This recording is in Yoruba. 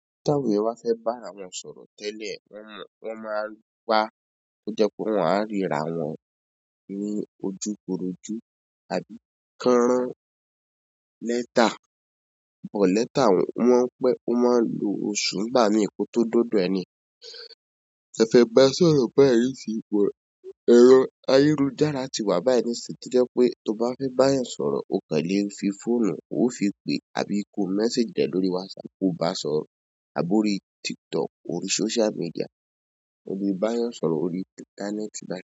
Tí àwọn éeyan bá fẹ́ bá àra wọn sọ̀rọ̀ tẹ́lẹ̀, wọ́n máa n wa kó jẹ́ pé wọ́n á ríra wọn ní ojúkorojú àbí ki won ran lẹ́tà, but lẹ́tà o mo n pé, ó máa lò oṣù ńgbami ko to dọdọ ẹni te fẹ́ ba sọ̀rọ̀. Ero ayélujára ti wà báyìí nísin to jẹ́ pé tó bá fẹ́ bá eeyàn sọ̀rọ̀ o kan lé fi fóònù, o fi pé àbí ko mẹ́sejì rẹ lórí wásapù ko bá sọ̀rọ̀, àbí orí tiktok, orí social media, o lè báa yàn sọ̀rọ̀ lórí íńtánẹ́ẹ̀tì báyìí.